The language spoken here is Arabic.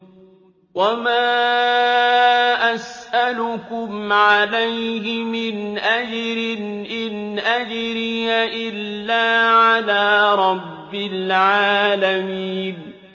وَمَا أَسْأَلُكُمْ عَلَيْهِ مِنْ أَجْرٍ ۖ إِنْ أَجْرِيَ إِلَّا عَلَىٰ رَبِّ الْعَالَمِينَ